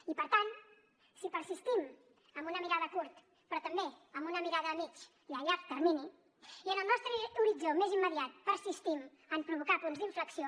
i per tant si persistim amb una mirada a curt però també amb una mirada a mig i a llarg termini i en el nostre horitzó més immediat persistim a provocar punts d’inflexió